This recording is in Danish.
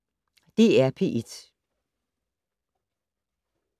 DR P1